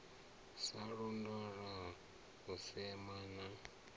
sa londola u sema na